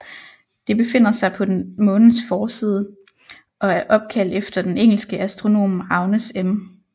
Det befinder sig på den Månens forside og er opkaldt efter den engelske astronom Agnes M